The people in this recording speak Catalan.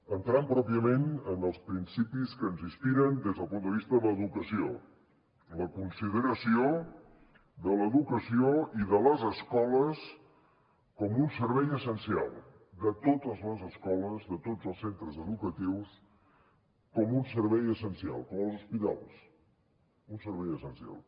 entrant pròpiament en els principis que ens inspiren des del punt de vista de l’educació la consideració de l’educació i de les escoles com un servei essencial de totes les escoles de tots els centres educatius com un servei essencial com els hospitals un servei essencial